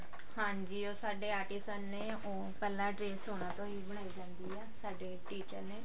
ਹਾਂਜੀ ਉਹ ਸਾਡੇ artist ਨੇ ਉਹ ਪਹਿਲਾਂ trace ਉਹਨਾ ਤੋਂ ਹੀ ਬਣਾਈ ਜਾਂਦੀ ਹੈ ਸਾਡੇ teacher ਨੇ